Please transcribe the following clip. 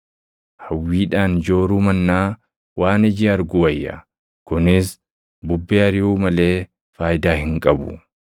Hawwiidhaan jooruu mannaa waan iji argu wayya. Kunis bubbee ariʼuu malee faayidaa hin qabu.